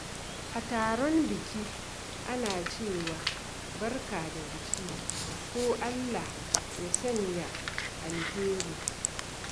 A taron biki, ana cewa "Barka da biki" ko "Allah ya sanya alheri."